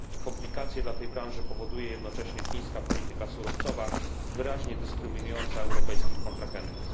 Komplikacje dla tej branży powoduje jednocześnie chińska polityka surowcowa, wyraźnie dyskryminująca europejskich kontrahentów.